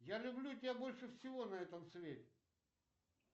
я люблю тебя больше всего на этом свете